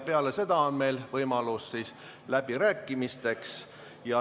Peale seda on võimalus läbirääkimisteks.